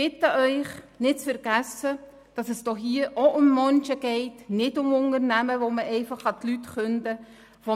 Bitte vergessen Sie nicht, es geht hier um Menschen, nicht um Unternehmen, bei welchen den Angestellten einfach gekündigt werden kann.